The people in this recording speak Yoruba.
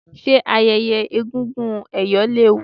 ṣe ayẹyẹ egúngún ẹ̀yọ̀ léwu?